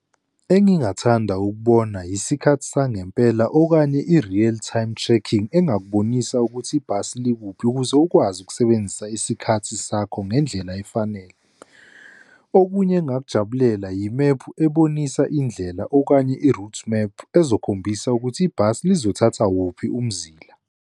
Engingathanda ukubona yisikhathi sangempela okanye i-real time tracking, engakubonisa ukuthi ibhasi likuphi, ukuze ukwazi ukusebenzisa isikhathi sakho ngendlela efanele. Okunye engakujabulela yimephu ebonisa indlela okanye i-route map ezokhombisa ukuthi ibhasi lizothatha wuphi umzila.